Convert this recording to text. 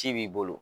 Ci b'i bolo